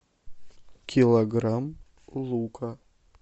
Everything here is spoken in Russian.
килограмм лука